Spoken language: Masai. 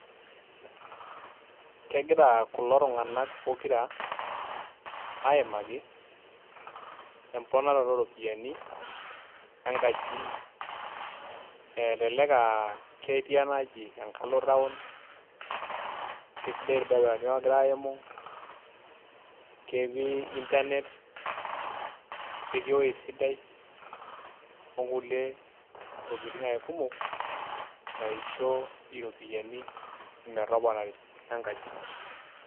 Kegira kulo tung'anak pokira aimaki, emponaroto oropiyiani, enkaji. Elelek ah ketii enaaji enkalo taon, kesidai irbarabarani ogira aimu, ketii Internet, ketii ewoi sidai onkulie tokiting ake kumok, naisho iropiyiani metoponari enkaji.